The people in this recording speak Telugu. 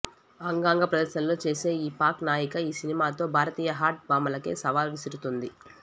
అంగాంగ ప్రదర్శనలో చేసే ఈ పాక్ నాయిక ఈ సినిమాతో భారతీయ హాట్ భామాలకే సవాల్ విసురుతోంది